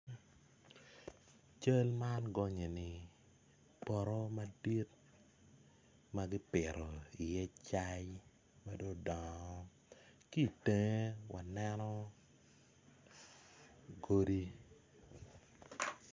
Cal man gonye ni poto madit ma gipito iye cai ma dong odongo ki itenge waneno godi.